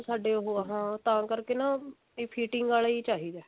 ਸਾਡੇ ਉਹ ਹੈ ਹਾਂ ਤਾਂ ਕਰਕੇ ਨਾ ਇਹ fitting ਆਲਾ ਹੀ ਚਾਹਿਦਾ